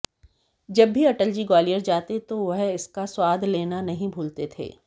जब भी अटल जी ग्वालियर जाते तो वह इसका स्वाद लेना नहीं भूलते थे